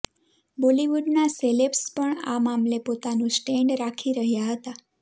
બોલીવુડના સેલેબ્સ પણ આ મામલે પોતાનું સ્ટેન્ડ રાખી રહ્યા હતા